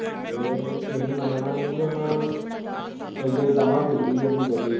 ਏਹ ਤੁਹੀਂ ਮੰਨਣਾ ਨੀ ਪੀ ਉਨ ਏਡੀ ਤਮਾ ਬਿਗੜੀ ਐ ਓਦੀ ਜੱਟੀ ਦੀ।